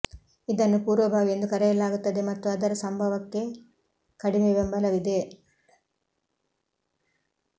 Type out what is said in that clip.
ಇದನ್ನು ಪೂರ್ವಭಾವಿ ಎಂದು ಕರೆಯಲಾಗುತ್ತದೆ ಮತ್ತು ಅದರ ಸಂಭವಕ್ಕೆ ಕಡಿಮೆ ಬೆಂಬಲವಿದೆ